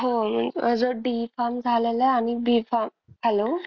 हा माझं D farm झालेलं आहे आणि B farm hello.